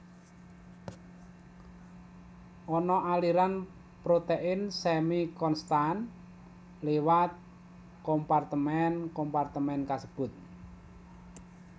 Ana aliran protein semi konstan liwat kompartemen kompartemen kasebut